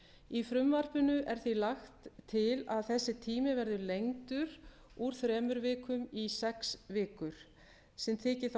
í frumvarpinu er því lagt til að þessi tími verði lengdur úr þremur vikum í sex vikur sem þyki þá